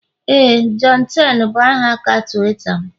Éè, johnten bụ aha aka Tuweeta m